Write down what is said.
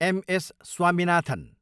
Am. S. Swaminathan